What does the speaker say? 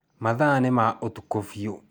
Mathaa nĩ ma ũtukũ fiũ